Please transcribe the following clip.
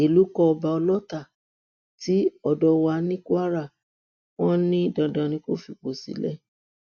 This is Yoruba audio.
ìlú kọ ọba ọlọta tí ọdọọwà ní kwara wọn ní dandan ni kó fipò sílẹ